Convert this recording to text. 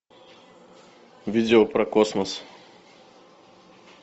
видео про космос